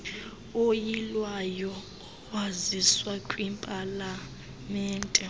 oyilwayo owaziswa kwipalamente